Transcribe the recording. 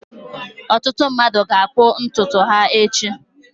Ọtụtụ mmadụ ga-akpụ ntutu ha echi.